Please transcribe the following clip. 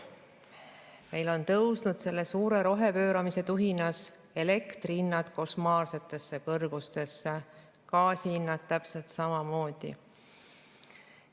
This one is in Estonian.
Meil on selle suure rohepööramise tuhinas tõusnud elektrihinnad košmaarsetesse kõrgustesse, gaasihinnad täpselt samamoodi.